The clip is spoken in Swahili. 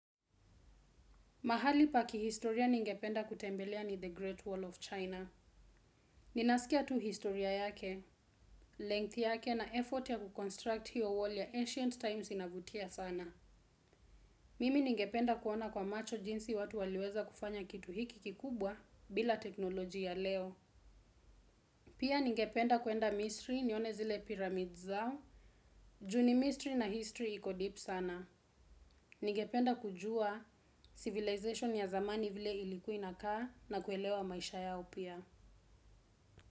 Mahali paki historia ningependa kutembelea ni The Great Wall of China. Ninasikia tu historia yake, length yake na effort ya kuconstruct hiyo wall ya ancient times inavutia sana. Mimi ningependa kuona kwa macho jinsi watu waliweza kufanya kitu hiki kikubwa bila teknoloji ya leo. Pia ningependa kwenda misri nione zile pyramids zao. Juni mystery na history ikodeep sana. Ningependa kujua civilization ya zamani vile ilikuai na kaa na kuelewa maisha ya opia.